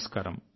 నమస్కారం